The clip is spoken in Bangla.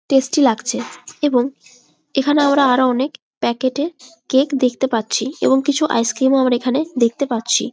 টেস্টি লাগছে এবং এখানে আমরা আরও অনেক প্যাকেট -এ কেক দেখতে পাচ্ছি এবং কিছু আইসক্রিম ও আমরা এখানে দেখতে পাচ্ছি ।